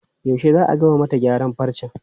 Yaushe za a gama mata gyaran farcen?